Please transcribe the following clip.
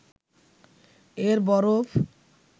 এর বরফ